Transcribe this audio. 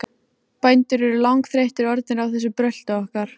Bændur eru langþreyttir orðnir á þessu brölti okkar.